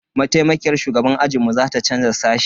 Maitaimakiyar shugaban ajinmu za ta canza sashe.